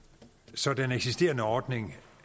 så den eksisterende ordning